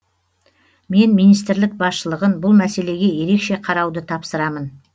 мен министрлік басшылығын бұл мәселеге ерекше қарауды тапсырамын